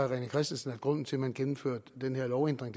rené christensen at grunden til at man gennemfører den her lovændring